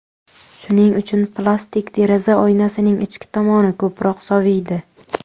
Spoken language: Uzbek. Shuning uchun, plastik deraza oynasining ichki tomoni ko‘proq soviydi.